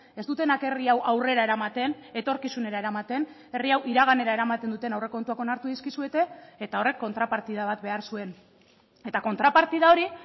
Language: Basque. ez dutenak herri hau aurrera eramaten etorkizunera eramaten herri hau iraganera eramaten duten aurrekontuak onartu dizkizuete eta horrek kontrapartida bat behar zuen eta kontrapartida hori